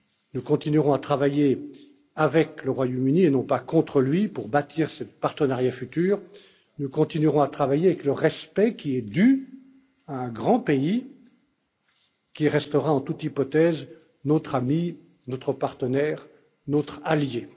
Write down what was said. Nous continuerons à travailler avec le Royaume Uni, et non pas contre lui, pour bâtir ce partenariat futur et nous continuerons à travailler avec le respect qui est dû à un grand pays qui restera en toute hypothèse notre ami, notre partenaire et notre allié.